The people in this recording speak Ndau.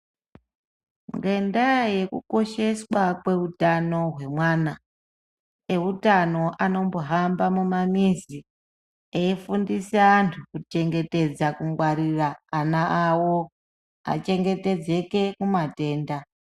Ngendaa yekukosheswa kweutano hwemwana , eutano anombohamba mumamizi eifundise antu kuchengetedza kungwarira ana awo achengetedzeke kumatenda.